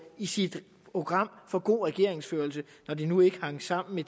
i sit program for god regeringsførelse når det nu ikke hænger sammen med